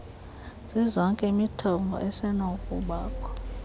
zizonke imithombo esenokubakho